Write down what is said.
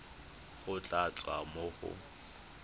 go tla tswa mo go